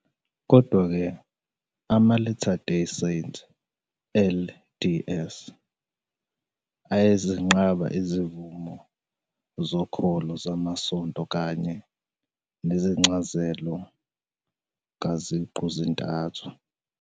Kodwa-ke, ama-Latter-day Saints, LDS, ayazenqaba izivumo zokholo zamasonto kanye nencazelo kaZiqu -zintathu.